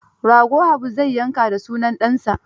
Rago Habu zai yanka da sunan ɗansa